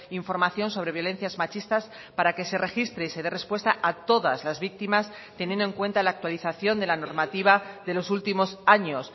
información sobre violencias machistas para que se registre y se dé respuesta a todas las víctimas teniendo en cuenta la actualización de la normativa de los últimos años